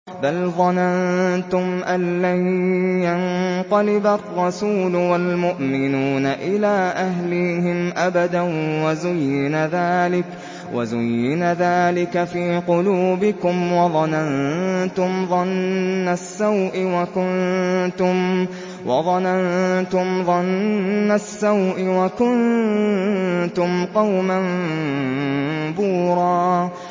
بَلْ ظَنَنتُمْ أَن لَّن يَنقَلِبَ الرَّسُولُ وَالْمُؤْمِنُونَ إِلَىٰ أَهْلِيهِمْ أَبَدًا وَزُيِّنَ ذَٰلِكَ فِي قُلُوبِكُمْ وَظَنَنتُمْ ظَنَّ السَّوْءِ وَكُنتُمْ قَوْمًا بُورًا